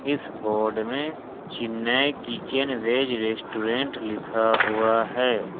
इस बोर्ड में Chennai kitchen veg restaurant लिखा हुआ है।